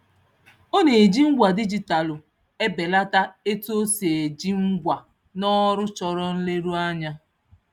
Ọ na-eji ngwa dijitalụ ebelata etu o si eji ngwa n'ọrụ chọrọ nleruanya.